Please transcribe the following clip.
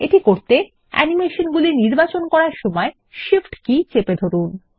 এটি করতে অ্যানিমেশনগুলি নির্বাচন করার সময় শিফট কী চেপে ধরুন